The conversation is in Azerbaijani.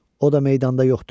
O da meydanda yoxdur.